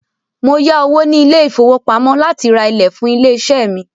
Mó yá owó ní ilé ìfọwọ́pamo láti rá ilẹ̀ fún ilé iṣé mí.